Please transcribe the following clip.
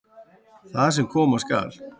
Það sem koma skal